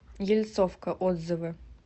ельцовка отзывы